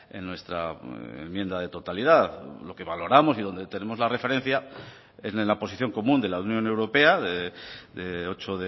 en nuestra enmienda de totalidad lo que valoramos y dónde tenemos la referencia en la posición común de la unión europea de ocho